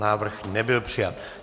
Návrh nebyl přijat.